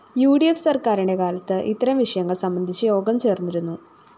U D F സര്‍ക്കാരിന്റെ കാലത്ത് ഇത്തരം വിഷയങ്ങള്‍ സംബന്ധിച്ച് യോഗം ചേര്‍ന്നിരുന്നു